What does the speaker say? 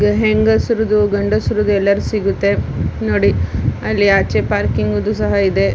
ಹೆಂಗಸ್ರದು ಗಂಡಸ್ರದು ಎಲ್ಲರ್ದ್ ಸಿಗುತ್ತೆ. ನೋಡಿ. ಅಲ್ಲಿ ಆಚೆ ಪಾರ್ಕಿಂಗ್ದು ಸಹ ಇದೆ.